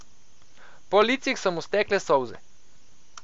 Po licih so mu stekle solze.